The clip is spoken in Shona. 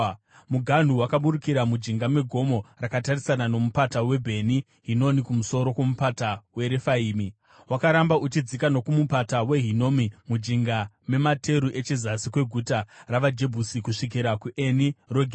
Muganhu wakaburukira mujinga megomo rakatarisana nomupata weBheni Hinomi kumusoro kwomupata weRefaimi. Wakaramba uchidzika nokuMupata weHinomi mujinga memateru echezasi kweguta ravaJebhusi kusvikira kuEni Rogeri.